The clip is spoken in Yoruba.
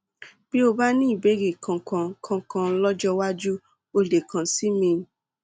bí o bá ní ìbéèrè kankan kankan lọjọ iwájú o lè kàn sí mi